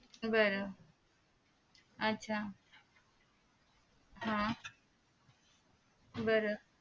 बर आच्छा हा बर